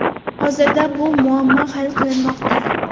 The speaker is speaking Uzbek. Hozirda bu muammo hal qilinmoqda.